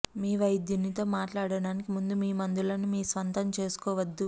మీ వైద్యునితో మాట్లాడటానికి ముందు మీ మందులను మీ స్వంతం చేసుకోవద్దు